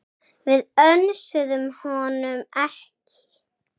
Við önsuðum honum ekki.